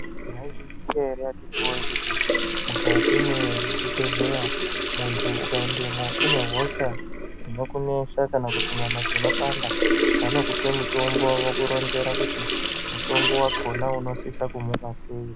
Maizviziya ere akiti woye kuti mukati mwezvibhedhlera muntu ukaendamo une hosha inokunesa kana kuti nyama dzinopanda vanokupa mutombo vokuronzera kuti mutombo wakona unosisa kumumwa sei.